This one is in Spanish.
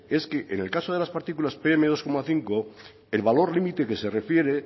en el caso de las partículas pm dos coma cinco el valor límite que se refiere